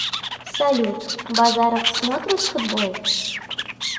салют базаров смотрит футбол